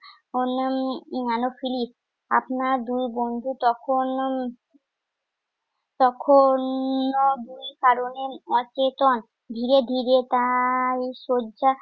অন্যান Anopheles. আপনার দুই বন্ধু তখন উম তখনো দুই কারণে ধীরে ধীরে তাই শয্যা